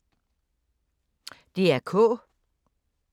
DR K